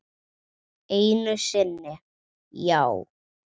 Einu sinni, já.